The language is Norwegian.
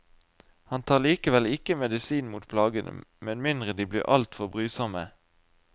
Han tar likevel ikke medisin mot plagene, med mindre de blir altfor brysomme.